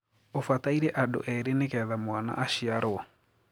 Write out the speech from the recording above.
ũfataĩrĩ andu iri nigithamwana ashiarwo